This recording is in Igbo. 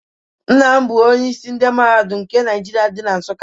Nna m bụ Onye isi Mahadum nke Nigeria dị na Nsuka.